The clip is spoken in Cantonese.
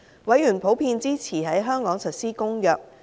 委員普遍支持在香港實施《公約》。